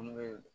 Munnu be